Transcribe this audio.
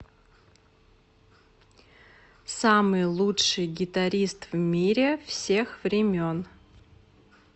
самый лучший гитарист в мире всех времен